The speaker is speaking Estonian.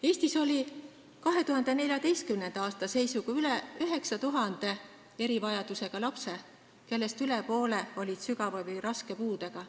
Eestis oli 2014. aastal üle 9000 erivajadusega lapse, kellest üle poole olid sügava või raske puudega.